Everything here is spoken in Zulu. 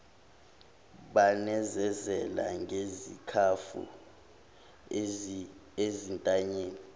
banezezele ngezikhafu ezintanyeni